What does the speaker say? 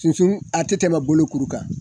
Sunsun a te tɛmɛ bolo kuru kan